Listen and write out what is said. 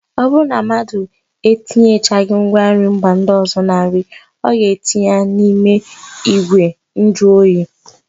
Ọ bụrụ na mmadụ etinyechaghị ngwanri mba ọzọ na nri, ọ ga-etinye ya n'ime ìgwè njụoyi